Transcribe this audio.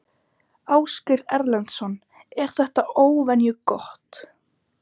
Ásgeir Erlendsson: Er þetta óvenju gott?